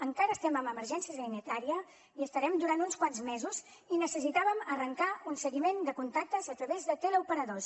encara estem en emergències sanitària hi estarem durant uns quants mesos i necessitàvem arrencar un seguiment de contactes a través de teleoperadors